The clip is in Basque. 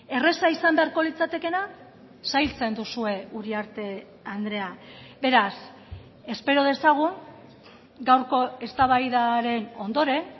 erraza izan beharko litzatekeena zailtzen duzue uriarte andrea beraz espero dezagun gaurko eztabaidaren ondoren